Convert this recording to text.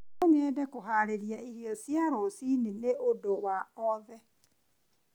No nyende kũharĩrĩria irio cia rũciinĩ nĩ ũndũ wa othe.